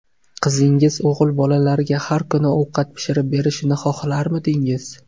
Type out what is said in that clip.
Qizingiz o‘g‘il bolalarga har kuni ovqat pishirib berishini xohlarmidingiz?